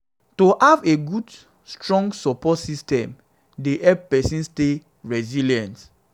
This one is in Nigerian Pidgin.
to have a good strong support system dey help pesin stay resilient.